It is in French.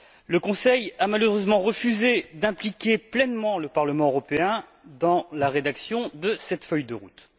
Le Conseil a malheureusement refusé d'impliquer pleinement le Parlement européen dans la rédaction de cette feuille de route.